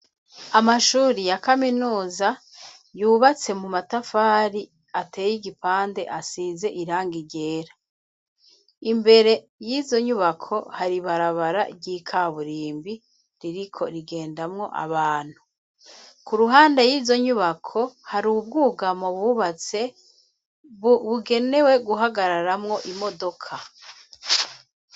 Amashuri ya kaminuza yubatse mu matafari ateye igipande asize iranga igera imbere y'izo nyubako hari barabara ry'ikaburimbi ririko rigendamwo abantu ku ruhande y'izo nyubako hari ubwugamo bubatse bugenewe guhagararamwo imodoka.